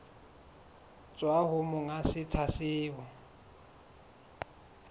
tswa ho monga setsha seo